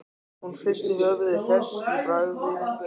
Hún hristi höfuðið, hress í bragði.